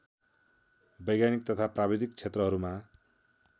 वैज्ञानिक तथा प्राविधिक क्षेत्रहरूमा